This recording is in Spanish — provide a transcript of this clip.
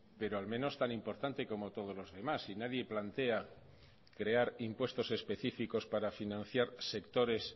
pero al menos tan importante como todos los demás y nadie plantea crear impuestos específicos para financiar sectores